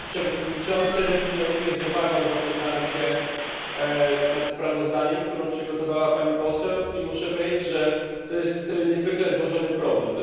Panie Przewodniczący! Ja również z uwagą zapoznałem się ze sprawozdaniem, które przygotowała pani poseł. I muszę powiedzieć, że to jest niezwykle złożony problem.